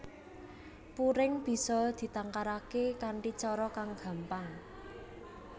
Puring bisa ditangkaraké kanthi cara kang gampang